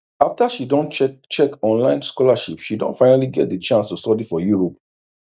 after she don check check online scholarship she don finally get d chance to study for europe